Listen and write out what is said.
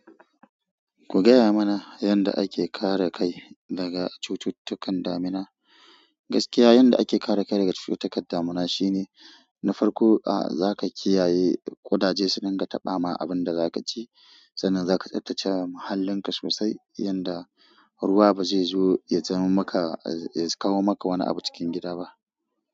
Ku gaya mana yadda ake kare kai daga cututtukan damina. Gaskiya, yanda ake kare kai daga cututtukan damina shine, na farko a za ka kiyaye ƙudaje su daga taɓa ma abun da za ka ci. Sannan za ka tsaftace muhallinka sosai yanda ruwa ba zai zo ya kawo maka wani abu cikin gida ba.